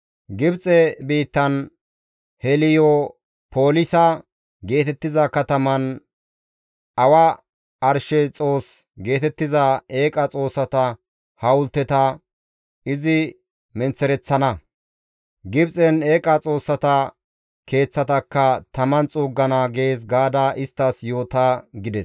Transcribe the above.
Gibxe biittan Heliyopolisa geetettiza kataman awa arshe xoos geetettiza eeqa xoossata hawulteta izi menththereththana; Gibxen eeqa xoossata keeththatakka taman xuuggana› gees gaada isttas yoota» gides.